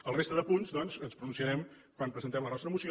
en la resta de punts doncs ens pronunciarem quan presentem la nostra moció